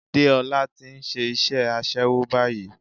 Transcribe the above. Déọlá ti nse isé aṣẹ́wó báyìí